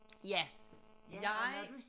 Ja jeg